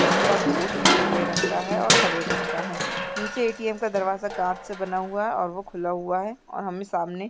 इसका बोर्ड नीले रंग का है और हरे रंग का है नीचे ए.टी.एम. का दरवाजा कांच का बना हुआ है और वो खुला हुआ है और हमे सामने --